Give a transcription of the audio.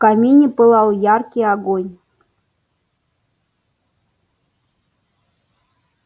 в камине пылал яркий огонь